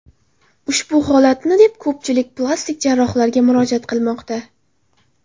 Ushbu holatni deb ko‘pchilik plastik jarrohlarga murojaat qilmoqda.